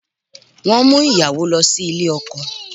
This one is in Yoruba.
Wọ́n ń mú ìyàwó lọ sí ilé ọkọ